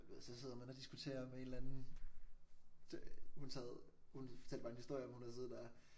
Du ved så sidder man og diskuterer med en eller anden hun sad hun fortalte mig en historie om at hun havde siddet og